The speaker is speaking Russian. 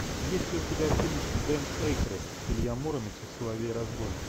есть ли у тебя фильм дэн эйкройд илья муромец и соловей разбойник